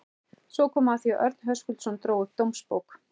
Svo kom að því að Örn Höskuldsson dró upp dómsbók